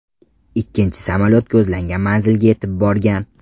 Ikkinchi samolyot ko‘zlangan manzilga yetib borgan.